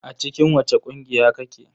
A cikin wace ƙungiya kake?